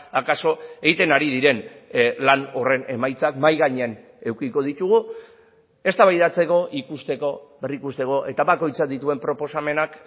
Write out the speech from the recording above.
akaso egiten ari diren lan horren emaitzak mahai gainean edukiko ditugu eztabaidatzeko ikusteko berrikusteko eta bakoitzak dituen proposamenak